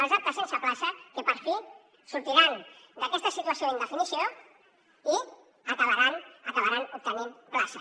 els aptes sense plaça que per fi sortiran d’aquesta situació d’indefinició i acabaran obtenint plaça